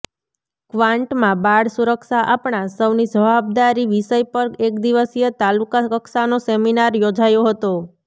કવાંટમાં બાળ સુરક્ષા આપણા સૌની જવાબદારી વિષય પર એક દિવસીય તાલુકા કક્ષાનો સેમીનાર યોજાયો હતો